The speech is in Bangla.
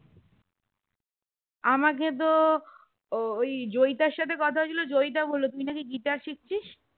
আমাকে তো ওই জয়িতা সাথে কথা হয়ে ছিল জয়িতা বললো তুই না কি guitar শিখছিস